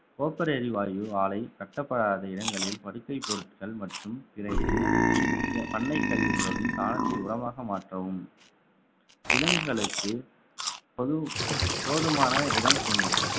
copper எரிவாயு ஆலை கட்டப்படாத இடங்களில் படுக்கை பொருட்கள் மற்றும் பண்ணை கழிவுகளுடன் சாணத்தை உரமாக மாற்றவும் விலங்குகளுக்கு பொது~ போதுமான இடம் கொடுங்கள்